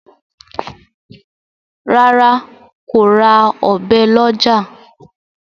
ràrá kò rà Ọ̀bẹ ló ọjà.